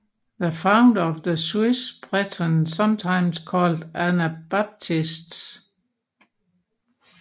The Founder of the Swiss Brethren sometimes Called Anabaptists